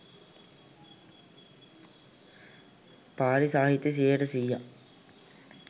පාලි සාහිත්‍ය සියයට සීයක්ම